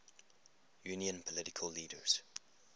union political leaders